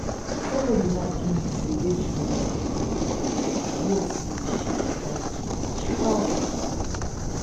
somebody lie give me say ejiro don leave hospital but i hear say she die today chai